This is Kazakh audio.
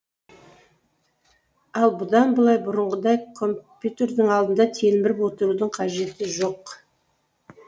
ал бұдан былай бұрынғыдай компьютердің алдында телміріп отырудың қажеті жоқ